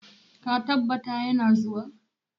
Ka tabbata ya na zuwa?